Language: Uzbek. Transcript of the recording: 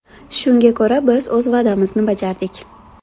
Shunga ko‘ra, biz o‘z va’damizni bajardik.